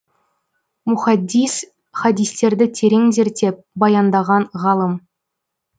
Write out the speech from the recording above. мухаддис хадистерді терең зерттеп баяндаған ғалым